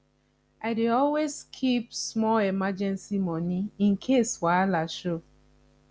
i dey always keep small emergency money in case wahala show